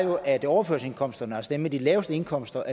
var at overførselsindkomsterne altså dem med de laveste indkomster